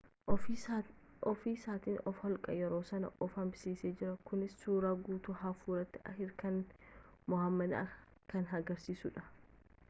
ofii isaatiin of-holqe yeroo san of hambisees jira kunis suuraa guutuu hafuuratti hirkannaa mohaammed kan agarisiisuudha